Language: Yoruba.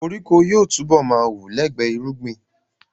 Koríko yóò túbọ̀ ma wù lẹ́gbẹ irúgbìn